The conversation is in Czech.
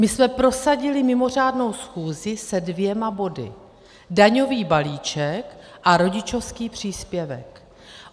My jsme prosadili mimořádnou schůzi se dvěma body - daňový balíček a rodičovský příspěvek.